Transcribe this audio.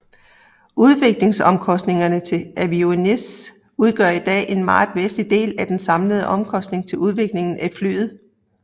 Udviklingsomkostningerne til avionics udgør i dag en meget væsentlig del af de samlede omkosntinger til udviklingen af flyet